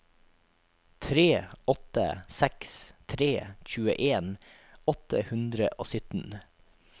tre åtte seks tre tjueen åtte hundre og sytten